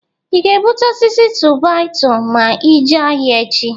I ga-ebuta osisi tu-baị-tu ma ijee ahịa echị?